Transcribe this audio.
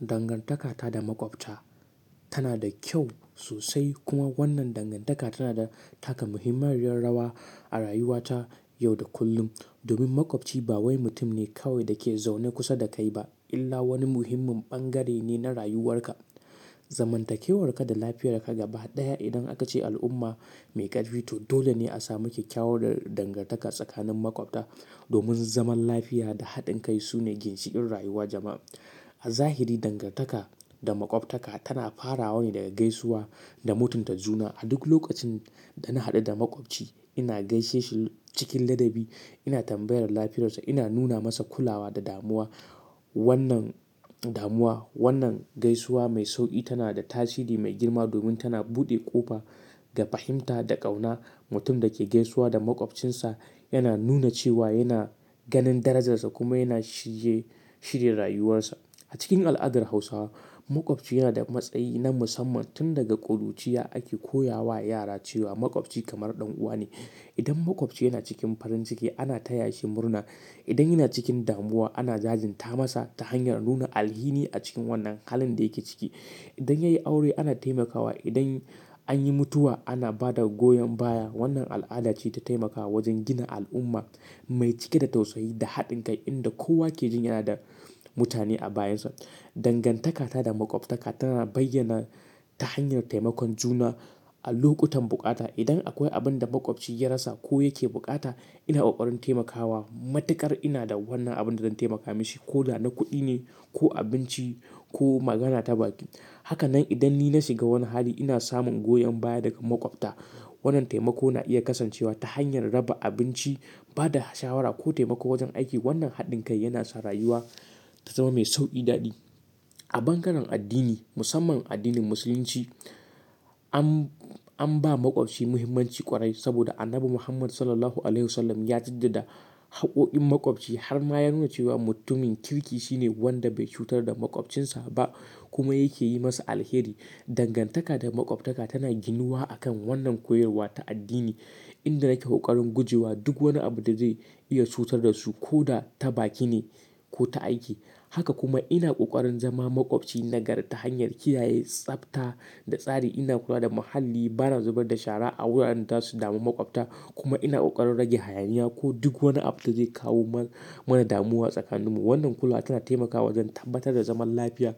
Dangantaka ta da makwabta tana da kyau sosai. Kuma wannan dangantaka tana taka muhimmiyar rawa a rayuwata yau da kullum. Domin makwabci bawai mutum ne kawai da ke zaune kusa da kai ba, illa wani muhimmin bangare ne na rayuwarka. Zamantakewarka da lafiyar ka gaba ɗaya idan aka ce al'umma mai ƙarfi to dole ne a samu kyakkyawar dangantaka tsakanin makwabta. Domin zaman lafiya da haɗin kai sune ginshiƙin rayuwar jama'a. A zahiri, dangantaka da makwabtaka tana farawa ne daga gaisuwa da mutunta juna. A duk lokacin da na haɗu da makwabci, ina gaishe shi cikin ladabi, ina tambayar lafiyarsa, ina nuna masa kulawa da damuwa. Wannan damuwa, wannan gaisuwa mai sauƙi tana da tasiri mai girma domin tana buɗe ƙofa ga fahimta da ƙauna. Mutum da ke gaisuwa da makwabcinsa yana nuna cewa yana ganin darajarsa kuma yana shirye, shirya rayuwarsa. A cikin al'adar Hausawa makwabci yana da matsayi na musamman. Tun daga ƙuruciya ake koya wa yara cewa makwabci kamar ɗan'uwa ne. Idan makwabci yana cikin farin ciki ana taya shi murna. Idan yana cikin damuwa ana jajinta masa ta hanyar nuna alhini a cikin wannan halin da yake ciki. Idan ya yi aure ana taimaka wa, idan an yi mutuwa ana bada goyon baya. Wannan al'ada ce ta taimakawa wajen gina al'umma mai cike da tausayi da haɗin kai inda kowa ke jin yana da mutane a bayinsa. Dangantaka ta da makwabtaka tana bayyana ta hanyar taimakon juna a lokutan bukata. Idan akwai abin da makwabci ya rasa ko yake bukata, ina ƙoƙarin taimaka wa. Matuƙar ina da wannan abin da zan taimaka mishi ko da na kuɗi ne, ko abinci ko magana ta baki. Haka nan idan ni na shiga wani hali ina samun goyon baya daga makwabta. Wannan taimako na iya kasancewa ta hanyar raba abinci, bada shawara ko taimako wajen aiki. Wannan haɗin kai yana sa rayuwa ta zama mai sauƙi daɗi. A bangaren addini, musamman addinin Musulunci an, an ba makwabci muhimmanci ƙwarai. Saboda Annabi Muhammad Sallallahu alaihi wasallam ya jaddada haƙƙo'in makwabci har ma ya nuna cewa mutumin kirki shine wanda bai cutar da makwabcinsa ba kuma yake yi masa alheri. Dangantaka da makwabtaka tana ginuwa a kan wannan koyarwa ta addini inda nake ƙoƙarin guje wa duk wani abu da zai iya cutar da su ko da ta baki ne ko ta aiki. Haka kuma ina ƙoƙarin zama makwabci nagari ta hanyar kiyaye tsafta da tsari. Ina kula da muhalli, bani zubar da shara a wuraren da zasu damu makwabta. Kuma ina ƙoƙarin rage hayaniya ko duk wani abu da zai kawo ma-mana damuwa tsakaninmu. Wannan kula tana taimakawa wajen tabbatar da zaman lafiya